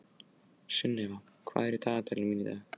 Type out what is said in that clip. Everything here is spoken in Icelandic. Sunnefa, hvað er á dagatalinu mínu í dag?